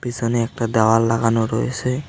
পিসনে একটা দেওয়াল লাগানো রয়েসে।